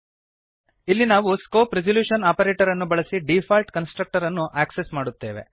ಇಲ್ಲಿ ನಾವು scope resolution ಆಪರೇಟರನ್ನು ಬಳಸಿ ಡೀಫಾಲ್ಟ್ ಕನ್ಸ್ಟ್ರಕ್ಟರನ್ನು ಆಕ್ಸೆಸ್ ಮಾಡುತ್ತೇವೆ